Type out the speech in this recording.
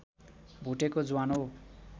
भुटेको ज्वानो